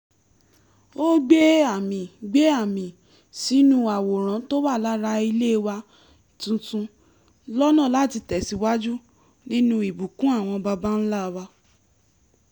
ó gbẹ́ àmì gbẹ́ àmì sínú àwòrán tó wà lára ilé wa tuntun lọ́nà láti tẹ̀síwájú nínú ìbùkún àwọn baba ńlá wa